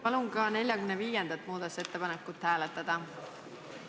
Palun ka 45. muudatusettepanekut hääletada!